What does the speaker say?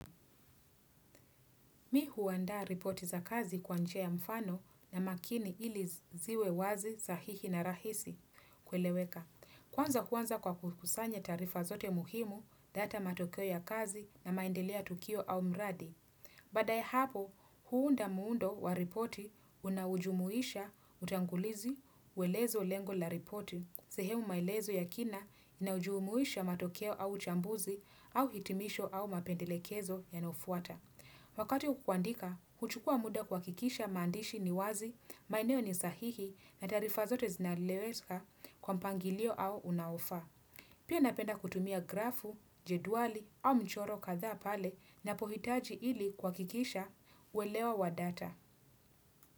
Mi huwanda ripoti za kazi kwa njia ya mfano na makini ili ziwe wazi sahihi na rahisi kweleweka. Kwanza kwanza kwa kusanya tarifa zote muhimu data matokeo ya kazi na maendeleo ya tukio au mradi. Bada ya hapo, huunda muundo wa ripoti unaojumuisha, utangulizi, uelezo lengo la ripoti. Sehemu maelezo ya kina inaojumuisha matokeo au chambuzi au hitimisho au mapendelekezo yanofuata. Wakati kukwandika, huchukua muda kwa kikisha mandishi ni wazi, maeneo ni sahihi na tarifa zote zinalewezika kwa mpangilio au unaofa. Pia napenda kutumia grafu, jeduali au mchoro katha pale napohitaji ili kwakikisha uelewa wa data.